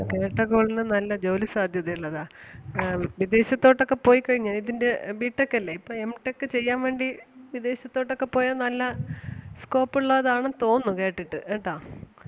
കേട്ടകോളിന്‌ നല്ല ജോലിസാധ്യത ഉള്ളതാ. ആഹ് വിദേശത്തോട്ട് ഒക്കെ പോയി കഴിഞ്ഞാ ഇതിന്റെ ആഹ് B Tech അല്ലേ ഇപ്പം Mtech ചെയ്യാൻ വേണ്ടി വിദേശത്തോട്ട് ഒക്കെ പോയാ നല്ല scope ഒള്ളതാണെന്ന് തോന്നുന്നു കേട്ടിട്ട് കേട്ടാ.